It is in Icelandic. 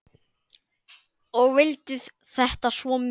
Ég vildi þetta svo mikið.